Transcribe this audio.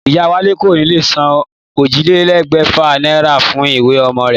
Ìyá Wálé kò ní lè san ójìlélégbèfà náírà fún ìwé omo rè